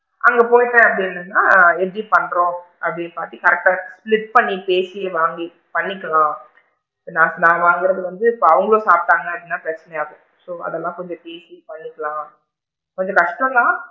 அங்க போயிட்டேன் அப்படின்னா எப்படி பண்றோம் அப்படின்னு பாத்து correct டா split பண்ணி பேசி வாங்கி பண்ணிக்கலாம் நான் வாங்குறது வந்து இப்ப அவுங்க சாப்டாங்க அப்படின்னா பிரச்சனை ஆகும் so அதலா கொஞ்சம் பேசி பண்ணிக்கலாம் கொஞ்சம் கஷ்டம் தான்.